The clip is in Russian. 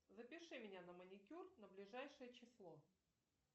запиши меня на маникюр на ближайшее число